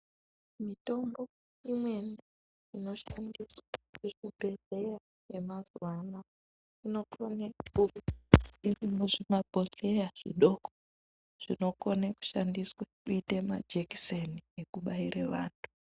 Mitombo imweni inoshandiswe muzvibhedhlera yemazuva anaya inokone kunge iri muzvimabhodhleya zvidoko zvinokone kushandiswa kuita majekiseni ekubaira vantu.